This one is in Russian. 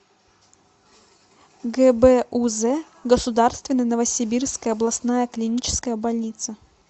гбуз государственная новосибирская областная клиническая больница